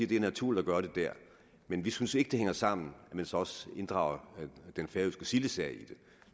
det er naturligt at gøre det der men vi synes ikke det hænger sammen at man så også inddrager den færøske sildesag